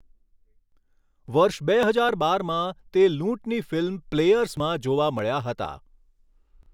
વર્ષ બે હજાર બારમાં, તે લૂંટની ફિલ્મ 'પ્લેયર્સ'માં જોવા મળ્યા હતા.